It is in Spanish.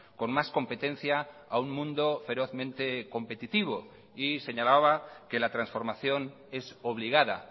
con más competencia a un mundo ferozmente competitivo y señalaba que la transformación es obligada